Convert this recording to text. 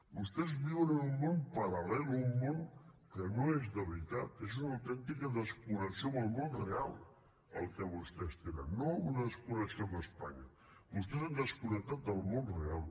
vostès viuen en un món paral·lel un món que no és de veritat és una autèntica desconnexió amb el món real el que vostès tenen no una desconnexió amb espanya vostès han desconnectat del món real